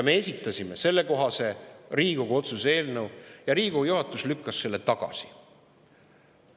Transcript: Me esitasime sellekohase Riigikogu otsuse eelnõu ja Riigikogu juhatus lükkas selle tagasi.